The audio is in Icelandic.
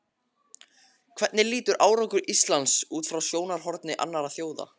Hvernig lítur árangur Íslands út frá sjónarhorni annarra þjóða?